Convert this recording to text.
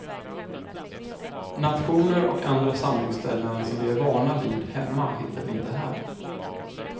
Nationer och andra samlingsställen som vi är vana vid hemma hittar du inte här.